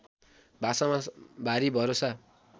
भाषामा भारी भरोसा